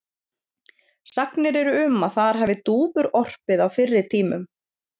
Sagnir eru um að þar hafi dúfur orpið á fyrri tímum.